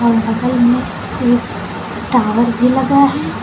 और बगल में एक टॉवर भी लगा है।